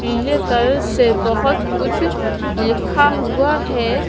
पिले कलर से बहुत कुछ लिखा हुआ है।